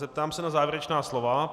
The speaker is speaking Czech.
Zeptám se na závěrečná slova.